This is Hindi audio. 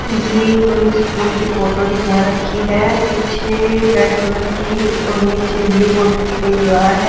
ये कोई स्कूल की फोटो दिखा रखी है पीछे रेड कलर की और नीचे ब्लू बॉर्डर की कोई दीवार है।